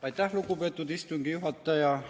Aitäh, lugupeetud istungi juhataja!